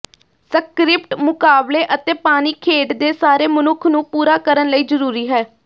script ਮੁਕਾਬਲੇ ਅਤੇ ਪਾਣੀ ਖੇਡ ਦੇ ਸਾਰੇ ਮਨੁੱਖ ਨੂੰ ਪੂਰਾ ਕਰਨ ਲਈ ਜ਼ਰੂਰੀ ਹੈ